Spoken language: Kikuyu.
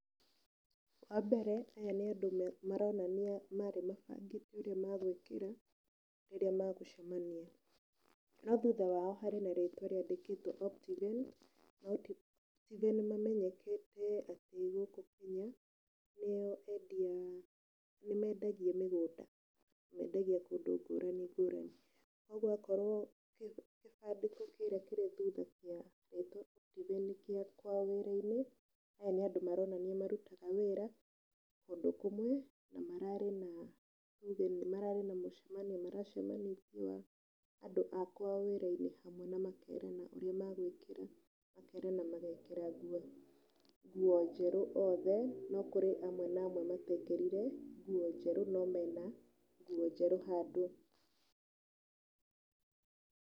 Wa mbere aya nĩ andũ maronania marĩ mabangĩte ũrĩa magwĩkĩra rĩrĩa magũcemania, no thutha wao harĩ na rĩtwa rĩandĩkĩtwo Optiven. Optiven nĩ mamenyekete atĩ gũkũ Kenya nĩo endia, nĩ mendagia mĩgũnda na mendagia kũndũ ngũrani ngũrani. Koguo akorwo kĩbandĩko kĩrĩa kĩrĩ thutha kĩa Optiven nĩ gĩa kwao wĩra-inĩ, aya nĩ andũ maronania marutaga wĩra kũndũ kũmwe na mararĩ na either mararĩ na mũcemanio maracemanĩtie andũ a kwao wĩra-inĩ hamwe na makerana ũrĩa magwĩkĩra. Makerana magekĩra nguo nguo njerũ othe no kũrĩ amwe na amwe matekĩrire nguo njerũ no mena nguo njerũ handũ.